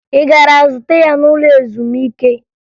Ị gara zute ya n'ụlọ ezumike?